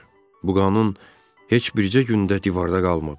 Bu qanun heç bircə gündə divarda qalmadı.